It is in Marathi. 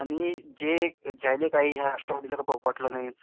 आणि जे ज्याने काही राष्ट्रवादीचं .